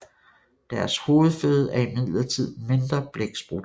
Deres hovedføde er imidlertid mindre blæksprutter